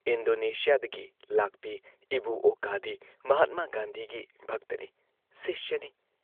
ꯏꯟꯗꯣꯅꯦꯁꯤꯌꯥꯗꯒꯤ ꯂꯥꯛꯄꯤ ꯏꯕꯨ ꯑꯣꯀꯥꯗꯤ ꯃꯍꯥꯠꯃꯥ ꯒꯥꯟꯙꯤꯒꯤ ꯚꯛꯇꯅꯤ, ꯁꯤꯁ꯭ꯌꯅꯤ ꯫